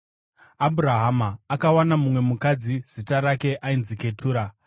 Abhurahama akawana mumwe mukadzi, zita rake ainzi Ketura.